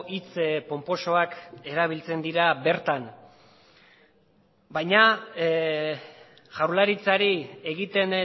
hitz ponposoak erabiltzen dira bertan baina jaurlaritzari egiten